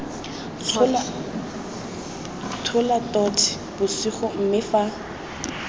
tshola totšhe bosigo mme fa